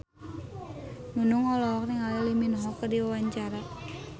Nunung olohok ningali Lee Min Ho keur diwawancara